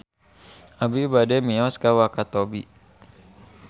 Abi bade mios ka Wakatobi